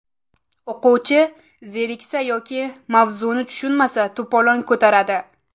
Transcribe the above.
O‘quvchi zeriksa yoki mavzuni tushunmasa to‘polon ko‘taradi.